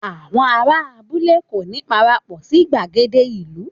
Àwọn ará abúlé kò ní parapọ̀ sí gbàgede ìlú